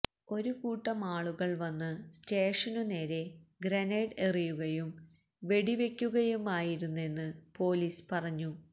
ഒരു കൂട്ടമാളുകള് വന്ന് സ്റ്റേഷനു നേരെ ഗ്രനേഡ് എറിയുകയും വെടിവെക്കുകയുമായിരുന്നെന്ന് പൊലിസ് പറഞ്ഞു